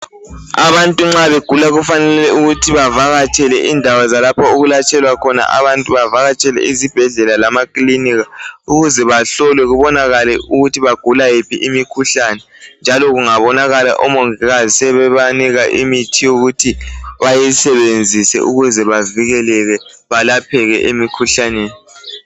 Abantu nxa begula kufanele ukuthi bavakatshele indawo zalapha okwelatshelwa khona abantu. Bavakatshele izibhedlela lemakilinika. Ukuze bahlolwe, kubonakale ukuthi bagula yiphi imikhuhlane. Njalo kungabonakala, omongikazi sebanika imithi yokuthi bayisebenzise, Bakapheke emikhuhlaneni.